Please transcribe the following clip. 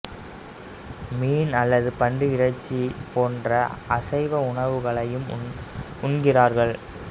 மீன் அல்லது பன்றி இறைச்சி போன்ற அசைவ உணவுகளையும் உண்கிறார்கள்